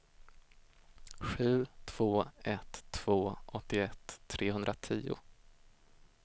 sju två ett två åttioett trehundratio